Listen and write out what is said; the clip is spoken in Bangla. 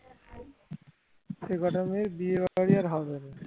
সে কটা মেয়ের বিয়ে ঘরটাই আর হবে নি